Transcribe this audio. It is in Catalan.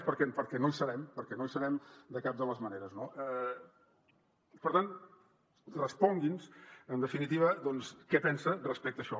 perquè no hi serem perquè no hi serem de cap de les maneres no per tant respongui’ns en definitiva què pensa respecte a això